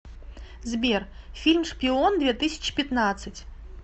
сбер фильм шпион две тысячи пятнадцать